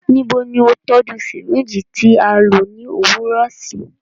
Nibo ni o tọju syringe ti a lo ni owurọ si?